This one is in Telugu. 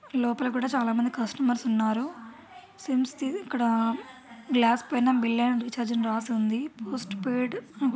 లోపల కూడ చాలామంది కస్టమర్స్ ఉన్నారు సిమ్స్ ది ఇక్కడ గ్లాసుపైన బిల్ అండ్ రీఛార్జ్ అని రాసివుంది పోస్టుపైడ్